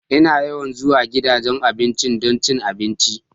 Ina yawan zuwa gidajen abinci don cin abinci.